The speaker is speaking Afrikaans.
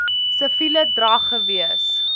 siviele drag gewees